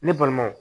Ne balimaw